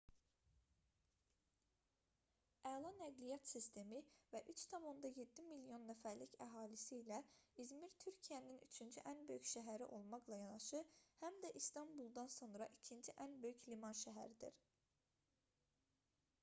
əla nəqliyyat sistemi və 3,7 milyon nəfərlik əhalisi ilə i̇zmir türkiyənin üçüncü ən böyük şəhəri olmaqla yanaşı həm də i̇stanbuldan sonra ikinci ən böyük liman şəhəridir